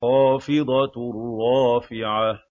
خَافِضَةٌ رَّافِعَةٌ